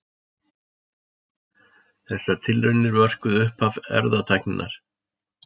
Þessar tilraunir mörkuðu upphaf erfðatækninnar.